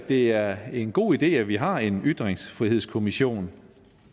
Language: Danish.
det er en god idé at vi har en ytringsfrihedskommission